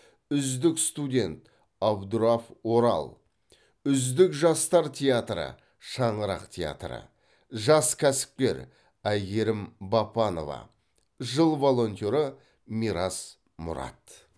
үздік студент абдраф орал үздік жастар театры шаңырақ театры жас кәсіпкер айгерім бапанова жыл волонтеры мирас мұрат